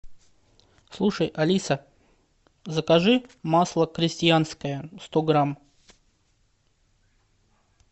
слушай алиса закажи масло крестьянское сто грамм